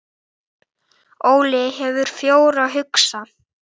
Bættum árangri fylgja auknar kröfur.